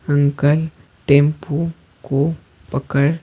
uncle tempo कोपकड़--